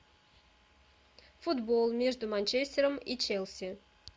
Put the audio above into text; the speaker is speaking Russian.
футбол между манчестером и челси